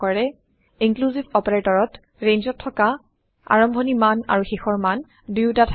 inclusive operatorত ৰেঞ্জত থকা আৰম্ভনি মান আৰু শেষৰ মান দুয়োটা থাকে